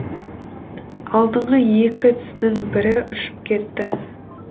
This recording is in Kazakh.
алдыңғы екі тісінің бірі ұшып кетті